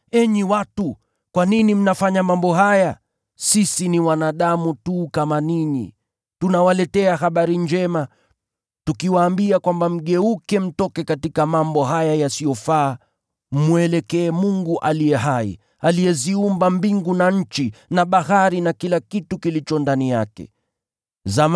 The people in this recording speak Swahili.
“Enyi watu, kwa nini mnafanya mambo haya? Sisi ni wanadamu tu kama ninyi! Tunawaletea habari njema, tukiwaambia kwamba mgeuke mtoke katika mambo haya yasiyofaa, mmwelekee Mungu aliye hai, aliyeziumba mbingu na nchi na bahari na vitu vyote vilivyomo.